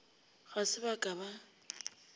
ga se ba ka ba